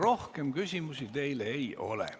Rohkem küsimusi teile ei ole.